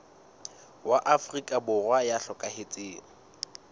wa afrika borwa ya hlokahetseng